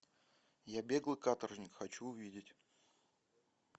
я беглый каторжник хочу увидеть